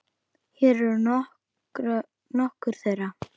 Hér eru nokkur þeirra.